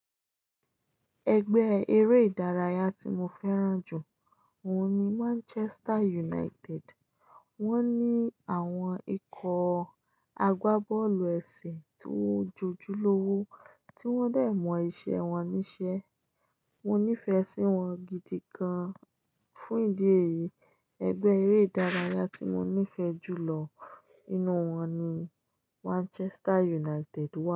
Ẹgbẹ́ eré ìdárayá tí mo fẹ́ràn jù òun ni Manchester United. Wọ́n ní àwọn ikọ̀ àgbábọ́ọ̀lù ẹ̀sìn tó jojúlówó tí wọ́n dẹ̀ mọ iṣẹ́ wọn níṣẹ́. Mo nífẹ̀ẹ́ sí wọn gidi gan-an. Fún ìdí èyí, ẹgbẹ́ eré ìdárayá tí mo nífẹ̀ẹ́ jù lọ nínú wọn ni Manchester United wà.